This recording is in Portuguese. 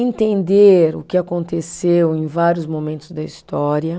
entender o que aconteceu em vários momentos da história.